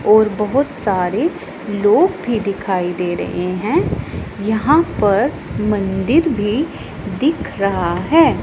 और बहोत सारे लोग भी दिखाई दे रहे हैं यहां पर मंदिर भी दिख रहा है।